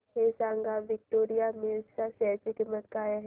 हे सांगा की विक्टोरिया मिल्स च्या शेअर ची किंमत काय आहे